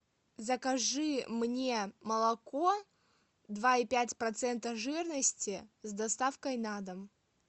закажи мне молоко два и пять процента жирности с доставкой на дом